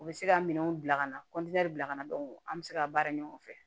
U bɛ se ka minɛnw bila ka na bila ka na don an bɛ se ka baara ɲɔgɔn fɛ